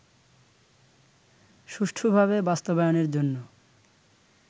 সুষ্ঠুভাবে বাস্তবায়নের জন্য